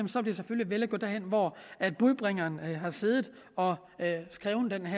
vil at gå derhen hvor budbringeren har siddet og skrevet den